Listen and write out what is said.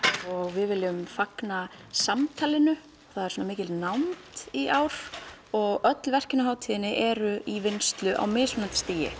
við viljum fagna samtalinu það er svona mikil nánd í ár og öll verkin á hátíðinni eru í vinnslu á mismunandi stigi